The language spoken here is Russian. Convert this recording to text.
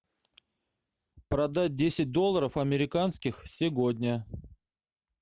продать десять долларов американских сегодня